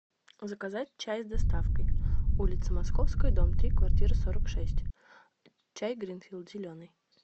заказать чай с доставкой улица московская дом три квартира сорок шесть чай гринфилд зеленый